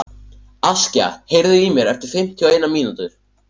Askja, heyrðu í mér eftir fimmtíu og eina mínútur.